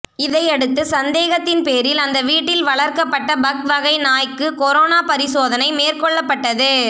இதையடுத்து சந்தேகத்தின் பேரில் அந்த வீட்டில் வளர்க்கப்பட்ட பக் வகை நாய்க்கு கொரோனா பரிசோதனை மேற்கொள்ளப்பட்டது